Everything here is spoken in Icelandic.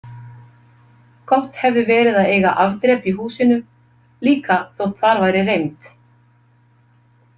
Gott hefði verið að eiga afdrep í húsinu, líka þótt þar væri reimt.